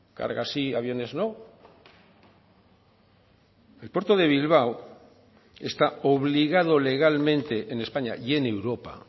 cargas sí aviones no el puerto de bilbao está obligado legalmente en españa y en europa